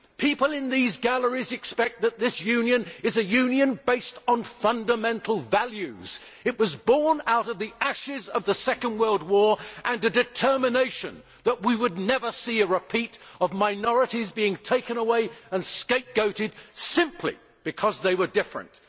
People in these galleries expect that this Union is a Union based on fundamental values. It was born out of the ashes of the Second World War and a determination that we would never see a repeat of minorities being taken away and scapegoated simply because they were different.